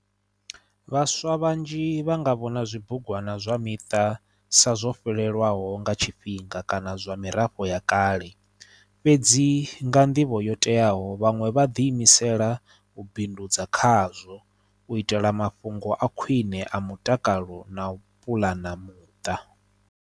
Vhaswa vhanzhi vha nga vhona zwibugwana zwa miṱa sa zwo fhelelwaho nga tshifhinga kana zwa mirafho ya kale fhedzi nga nḓivho yo teaho vhaṅwe vha ḓi imisela u bindudza khazwo u itela mafhungo a khwine a mutakalo na u puḽana muṱa.